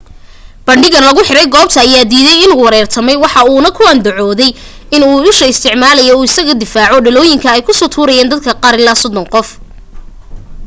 bandhigaha lagu xiray goobta ayaa diiday inuu weerartamay waxa uuna ku andacoode in uu usha u isticmaalaye in uu iskaga difaaco dhalooyinka ay kusoo tuurayen dad gaaraya sodon qof